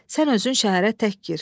Sən özün şəhərə tək gir.